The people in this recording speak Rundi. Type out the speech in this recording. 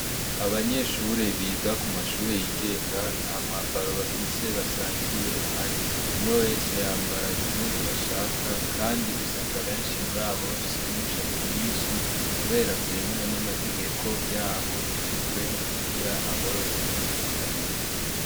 Abanyeshure biga kumashure yingenga ntamwambaro bafise basangiye uhari, umwe wese yambara impuzu ashaka kandi usanga benshi murabo bafise n'umushatsi mwinshi, kubera vyemewe n'amategeko yaho yashizweho kugira aborohereze.